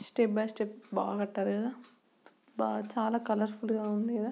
step by step బా కట్టారు కదా బ చాలా కలర్ ఫుల్ గ ఉంది కదా--